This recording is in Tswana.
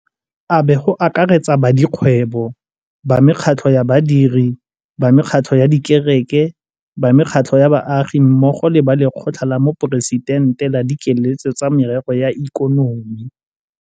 Abe go akaretsa ba dikgwebo, ba mekgatlho ya badiri, ba mekgatlho ya dikereke, ba mekgatlho ya baagi mmogo le ba Lekgotla la Moporesitente la Dikeletso tsa Merero ya Ikonomi.